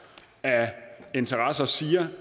af interesser siger